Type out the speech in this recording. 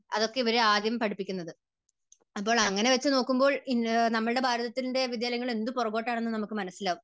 അതൊക്കെ ഇവരെ ആദ്യം പഠിപ്പിക്കുന്നത്. അപ്പോൾ അങ്ങനെ വെച്ചുനോക്കുമ്പോൾ നമ്മുടെ ഭാരതത്തിന്റെ വിദ്യാലയങ്ങൾ എന്തു പുറകോട്ട് ആണെന്ന് നമുക്ക് മനസ്സിലാകും.